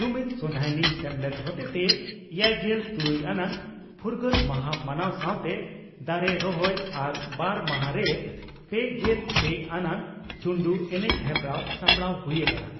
ᱡᱩᱢᱤᱫ ᱥᱚᱸᱫᱷᱟᱭᱱᱤ ᱥᱮᱢᱞᱮᱫ ᱦᱚᱛᱮᱛᱮ ᱮᱭᱟᱭᱜᱮᱞ ᱛᱩᱨᱩᱭ ᱟᱱᱟᱜ ᱯᱷᱨᱜᱟᱹᱞ ᱢᱟᱦᱟ ᱢᱟᱱᱟᱣ ᱥᱟᱣᱛᱮ ᱫᱟᱨᱮ ᱨᱚᱦᱚᱭ ᱟᱨ ᱵᱟᱨ ᱢᱟᱦᱟᱸᱨᱤ ᱯᱮᱜᱮᱞ ᱯᱮ ᱟᱱᱟᱜ ᱪᱩᱱᱰᱩ ᱮᱱᱮᱡ ᱦᱮᱯᱨᱟᱣ ᱥᱟᱯᱲᱟᱣ ᱦᱩᱭ ᱟᱠᱟᱱᱟ ᱾